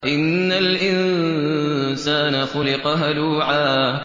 ۞ إِنَّ الْإِنسَانَ خُلِقَ هَلُوعًا